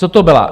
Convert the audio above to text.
Co to bylo?